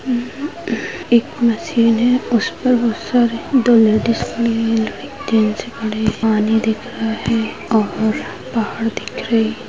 उम् उ एक मशीन हैं उस पर बहुत सारे दो लेडीज खड़े हैं जैंट्स खड़े हैं पानी दिख रहा है और पहाड़ दिख रही--